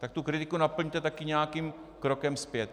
Tak tu kritiku naplňte taky nějakým krokem zpět.